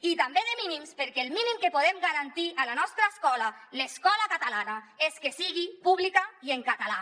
i també de mínims perquè el mínim que podem garantir a la nostra escola l’escola catalana és que sigui pública i en català